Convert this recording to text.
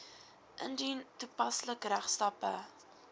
indien toepaslik regstappe